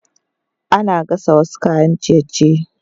Ana gasa wasu kayan ciye-ciye